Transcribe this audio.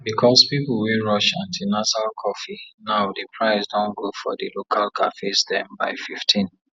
because people wey rush antinasal coffee now diprice don go for di local cafes dem by 15